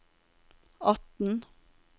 atten